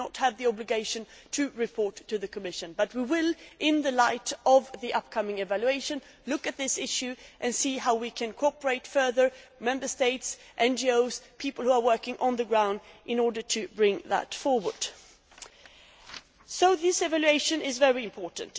They do not have the obligation to report to the Commission, but we will, in the light of the upcoming evaluation, look at this issue and see how we can cooperate further Member States, NGOs, people working on the ground in order to bring that forward. So, this evaluation is very important.